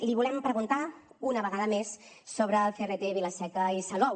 li volem preguntar una vegada més sobre el crt vila seca i salou